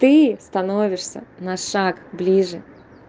ты становишься на шаг ближе